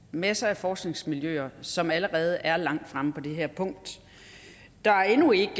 masser af forskningsmiljøer som allerede er langt fremme på det her punkt der er endnu ikke